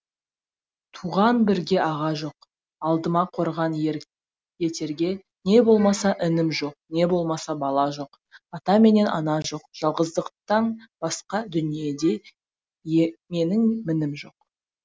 туған бірге аға жоқ алдыма қорған ер етерге не болмаса інім жоқ не болмаса бала жоқ ата менен ана жоқ жалғыздықтан басқа дүниеде менің мінім жоқ